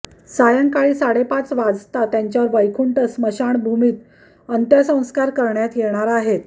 सायंकाळी साडेपाच वाजता त्यांच्यावर वैकुंठ स्मशानभूमीत अंत्यसंस्कार करण्यात येणार आहेत